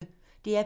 DR P1